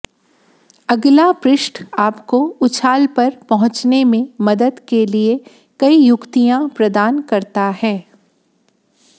अगला पृष्ठ आपको उछाल पर पहुंचने में मदद के लिए कई युक्तियां प्रदान करता है